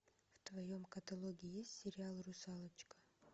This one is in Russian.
в твоем каталоге есть сериал русалочка